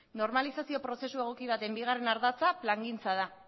normalizazio prozesu egoki baten bigarren ardatza plangintza da